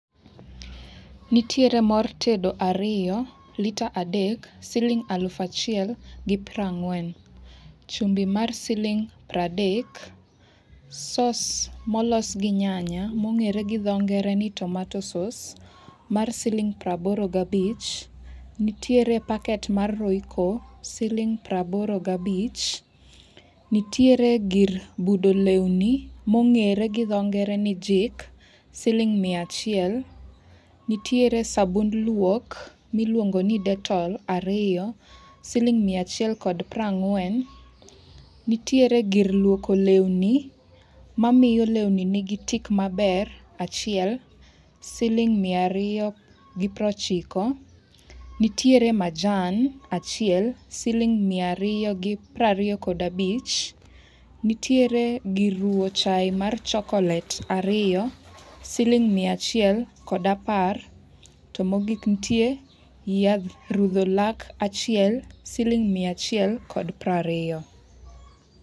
Nitiere mor tedo ariyo, lita adek siling aluf achiel gi prangwen, chumbi mar siling pradek, sos molos gi nyanya mongere gi dho ngere ni tomato sauce, mar siling praboro ga bich, nitiere packet mar royco, siling praboro gabich, nitiere gir budo lweni mongere gi dh ngere ni jik, siling mia achiel, nitier sabund luok miluongo ni dettol ariyo, siling mia achie kod prangwen, nitiere gir luoko lewni mamiyo lewni nigi tik maber, achiel, siling mia riyo gi prochiko. Nitiere majan achiel siling mia riyo gi prangwen kod abich, nitiere gir ruwo chai mar chocolate ariyo, siling mia achiel kod apar to mogik nitie yadh rudho lak achiel, siling mia achiel kod prariyo